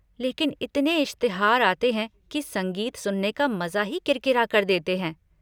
लेकिन इतने इश्तहार आते है की संगीत सुनने का मजा ही किरकिरा कर देते हैं।